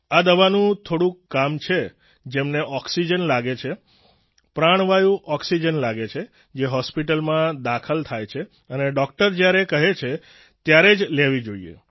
આ દવાનું થોડું કામ છે જેમને ઓક્સિજન લાગે છે પ્રાણવાયુ ઓક્સિજન લાગે છે જે હોસ્પિટલમાં દાખલ થાય છે અને ડોક્ટર જ્યારે કહે ત્યારે જ લેવી જોઈએ